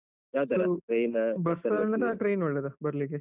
Bus ಒಳ್ಳೇದ train ಒಳ್ಳೇದ ಬರ್ಲಿಕ್ಕೆ?